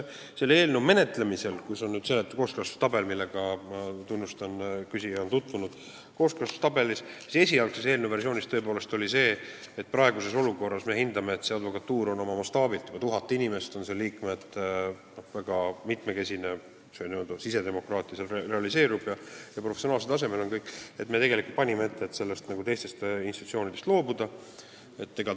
Selle eelnõu menetlemisel oli – ma tunnustan seda, et küsija on kooskõlastustabeliga tutvunud – esialgses versioonis kirjas, et praeguses olukorras on meie hinnangul advokatuur oma mastaabilt – seal on 1000 liiget – väga mitmekesine, sisedemokraatia seal realiseerub ja kõik on professionaalsel tasemel, ning me panime ette teiste institutsioonide esindajatest loobuda.